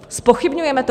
Zpochybňujeme to?